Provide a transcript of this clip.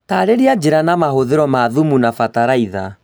Tarĩria njĩra na mahũthĩro ma thumu na bataraitha